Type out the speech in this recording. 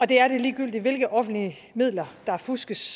det er det ligegyldigt hvilke offentlige midler der fuskes